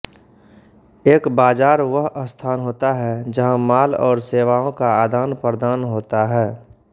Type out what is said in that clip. एक बाज़ार वह स्थान होता है जहां माल और सेवाओं का आदानप्रदान होता है